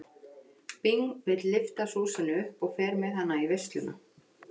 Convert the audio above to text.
Bing vill lyfta Súsönnu upp og fer með hana í veisluna.